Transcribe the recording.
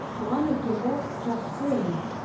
туған өлкемді жақсы көремін